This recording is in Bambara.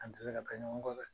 An tɛ se ka ka ɲɔgɔn kɔ dɛ